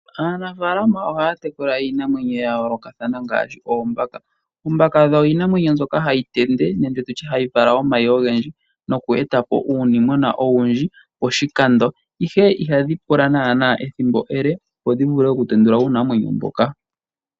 Aanafalama ohaya tekula iinamwenyo yayolokatha ngaashi oombaka. Oombaka odho iinamwenyo nzoka hayi tende nenge tutye hayi vala omayi ogendji, noku etapo uunimwena owundji poshikando, ihe ihadhi pula naana ethimbo ele opo dhivule okutendula uunamwenyo mboka.